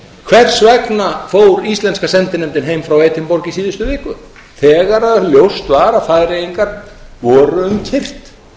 hvers vegna fór íslenska sendinefndin heim frá edinborg í síðustu viku þegar ljóst var að færeyingar voru um kyrrt